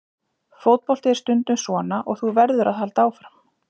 Fótbolti er stundum svona og þú verður að halda áfram.